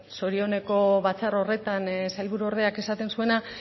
zorioneko batzar horretan sailburuordeak esaten zuena